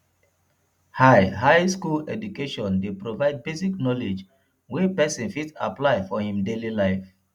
high high school education de provide basic knowledge wey persin fit apply for in daily life